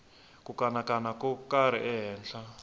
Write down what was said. ku kanakana ko karhi ehenhla